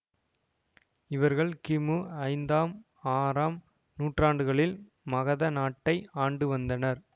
இவர்கள் கிமு ஐந்தாம் ஆறாம் நூற்றாண்டுகளில் மகத நாட்டை ஆண்டுவந்தனர்